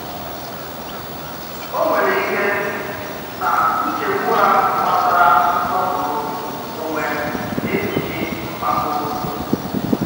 Ò̀ ǹwèrè̀ ìkè nà nchègbù à gbàsàrà nsòpùrù ònwè nà-èkpùchì mpàkò?